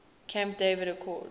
camp david accords